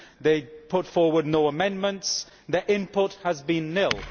They put forward no amendments and their input has been nil.